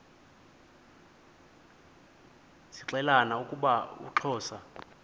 zixelelana ukuba uxhosa